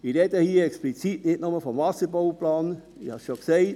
Ich rede hier explizit nicht nur von einem Wasserbauplan, ich habe es schon gesagt: